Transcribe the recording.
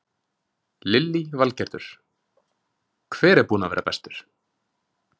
Lillý Valgerður: Hver er búinn að vera bestur?